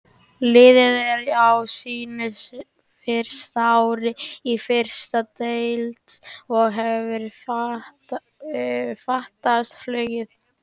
Liðið er á sínu fyrsta ári í efstu deild og hefur fatast flugið.